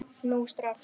Nú strax!